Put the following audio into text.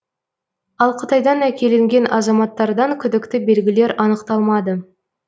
ал қытайдан әкелінген азаматтардан күдікті белгілер анықталмады